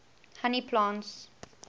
honey plants